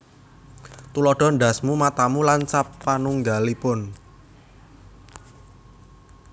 Tuladha ndhasmu matamu lan sapanungggalipun